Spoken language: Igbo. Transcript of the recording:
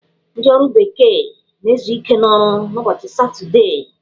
Ndị ọrụ bekee na-ezu ike n'ọrụ n'ụbọchị satọdee.